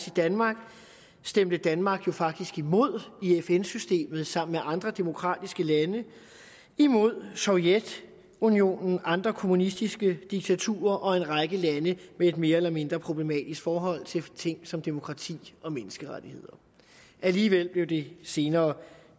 i danmark stemte danmark jo faktisk imod i fn systemet sammen med andre demokratiske lande imod sovjetunionen andre kommunistiske diktaturer og en række lande med et mere eller mindre problematisk forhold til ting som demokrati og menneskerettigheder alligevel blev det senere